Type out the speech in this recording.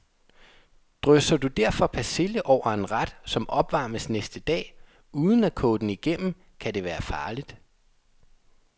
Drysser du derfor persille over en ret, som opvarmes næste dag, uden at koge den igennem, kan det være farligt.